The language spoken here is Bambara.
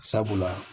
Sabula